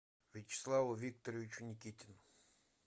вячеславу викторовичу никитину